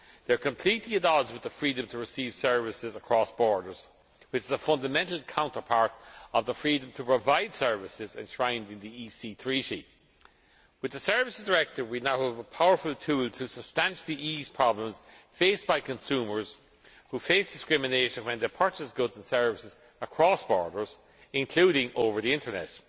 They are completely at odds with the freedom to receive services across borders, which is a fundamental counterpart of the freedom to provide services enshrined in the EEC Treaty. With the Services Directive we now have a powerful tool to substantially ease problems faced by consumers who face discrimination when they purchase goods and services across borders, including over the Internet.